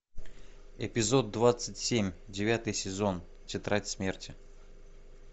эпизод двадцать семь девятый сезон тетрадь смерти